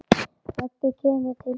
Raggi kemur til þeirra.